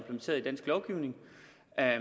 er